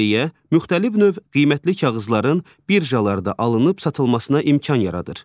Maliyyə müxtəlif növ qiymətli kağızların birjalarda alınıb satılmasına imkan yaradır.